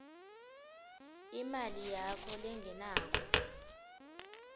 imali yakho lengenako